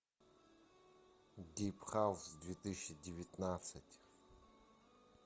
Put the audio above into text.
дип хаус две тысячи девятнадцать